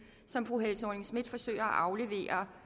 som fru helle thorning schmidt forsøger at aflevere